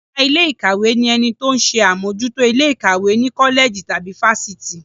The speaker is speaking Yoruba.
Ọ̀gá ilé ìkàwé ni ẹni tó ń ṣe àmójútó ilé ìkàwé ní kọ́lẹ̀jì tàbí fáfitì.